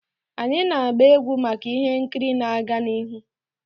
Anyị na-gba egwu maka ihe nkiri na-aga n'ihu,.